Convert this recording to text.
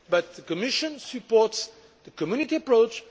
The Commission supports the Community approach.